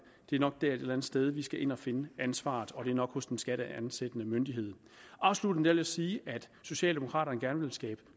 det er nok der et eller andet sted vi skal ind at finde ansvaret og det er nok hos den skatteansættende myndighed afslutningsvis sige at socialdemokraterne gerne vil skabe